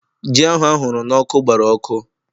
Ji ahụ ahụrụ n'ọkụ gbara ọkụ